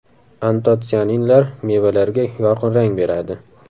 Antotsianinlar mevalarga yorqin rang beradi.